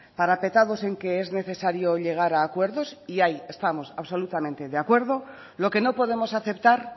parapetados en que es necesario llegar a acuerdos ahí estamos absolutamente de acuerdo lo que no podemos aceptar